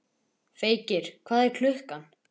Feykir, hvað er klukkan?